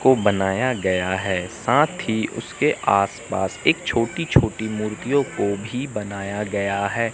को बनाया गया है साथ ही उसके आसपास एक छोटी छोटी मूर्तियों को भी बनाया गया है।